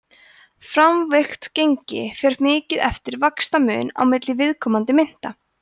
framvirkt gengi fer mikið eftir vaxtamun á milli viðkomandi mynta